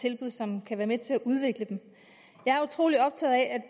tilbud som kan være med til at udvikle dem jeg er utrolig optaget af at